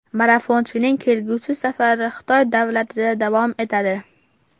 Marafonchining kelgusi safari Xitoy davlatida davom etadi.